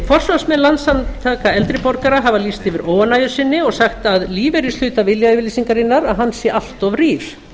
forsvarsmenn landssamtaka eldri borgara hafa lýst yfir óánægju sinni og sagt að lífeyrishluti viljayfirlýsingarinnar sé allt of rýr